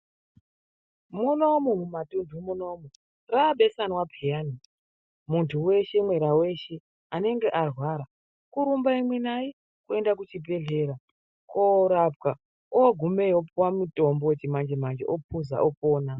Munomu mumatunthu munomu raabesanwa pheyani munthu weshe mwera weshe anenge arwara kurumba imwi nayi kuenda kuchibhedhleya kuenda korapwa. Ogumeyo opuwa mutombo wechimanje manje ophuza opona.